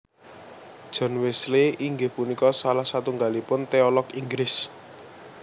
John Wesley inggih punika salah satunggalipun teolog Inggris